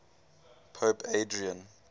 pope adrian